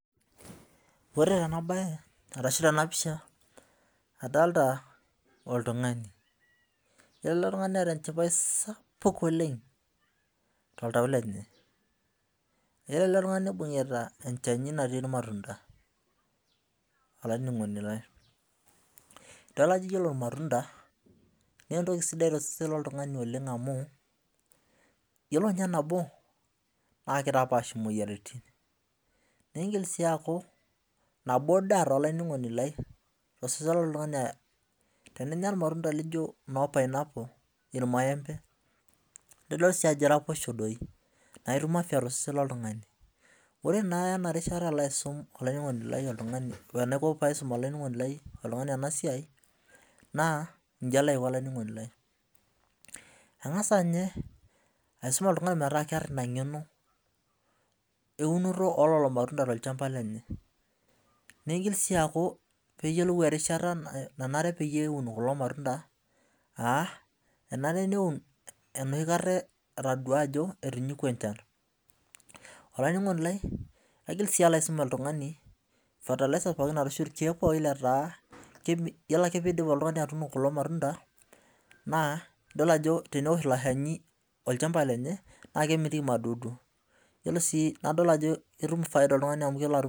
Ore tenabae ashi tenapisha adolita oltungani ore eletungani neeta enchipae sapuk oleng toltau lenye ore eletungani nibungita enchanu natii irmatunda ore irmatunda nentoki sidai tenkishui oltungani amu ore nabo na kitapaash moyiaritin tosesen loltungani teninya irmatunda lijo imaembe na itumoki tosesen loltungani ore naa tenarishata enaiko paisum oltungani enasia na nji alo aiko olaininingoni lai angasa aisum oltungani metaa keeta inangenoeunoto ololo matunda tolchamba lenye nigil si aaku keyiolou erishata pelo aun loli matunda enare neun enoshikata enedol ajo etinyikua enchan olaininingoni lai alo si aisum oltungani irkiek pooki yiolo ajo teneosh ilo shani olchamba lenye nakemitiki madudu nadol si ajo ketum oltungani faida amu kelo atum